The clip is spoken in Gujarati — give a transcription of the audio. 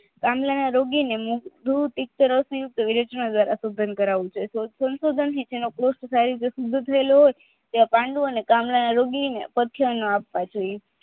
પાંડુરેના રોજીને પાંડુ ચામડાના રોગી સખ્ય ન આપવા જોઇએ